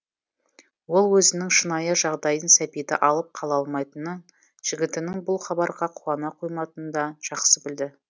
ол өзінің шынайы жағдайын сәбиді алып қала алмайтынын жігітінің бұл хабарға қуана қоймайтынында жақсы білді